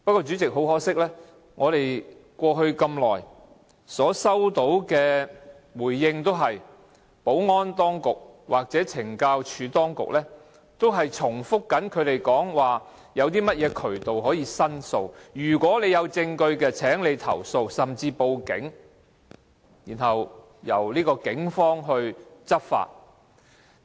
主席，很可惜過去我們收到的回覆，也是由保安當局或懲教署當局，不斷重複指出現已有申訴渠道，如果有證據便請投訴或甚至報警，交由警方執法。